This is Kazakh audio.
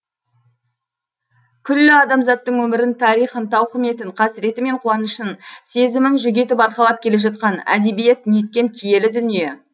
күллі адамзаттың өмірін тарихын тауқыметін қасіреті мен қуанышын сезімін жүк етіп арқалап келе жатқан әдебиет неткен киелі дүние